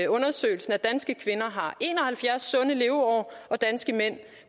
undersøgelsen at danske kvinder har en og halvfjerds sunde leveår og at danske mænd